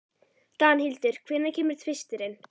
Danhildur, hvenær kemur tvisturinn?